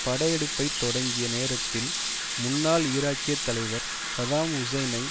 படையெடுப்பை தொடங்கிய நேரத்தில் முன்னாள் ஈராக்கிய தலைவர் சதாம் ஹுசனை